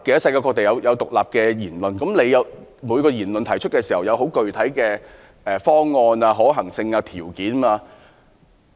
世界各地提倡獨立言論的人士，均會提出具體的方案、可行性及條件。